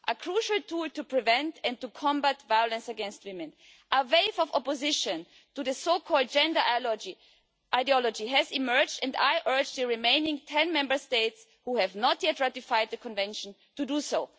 A crucial tool to prevent and to combat violence against women a wave of opposition to the so called gender ideology has emerged, and I urge the remaining ten Member States who have not yet ratified the Convention to do